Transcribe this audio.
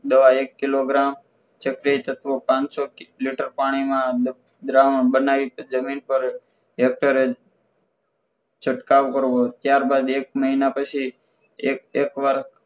દવા એક કિલોગ્રામ ચપટી ચક્રો એક લેટર પાણીમાં દ્રાવણ બનાવી જમીન પર એક્ટરે છટકાવ કરવો ત્યારબાદ એક મહિના પછી એક એકવાર